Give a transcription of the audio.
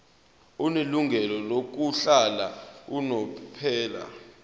onelungelo lokuhlala unomphela